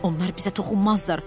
Onlar bizə toxunmazlar.